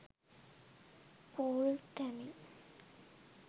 cool tamil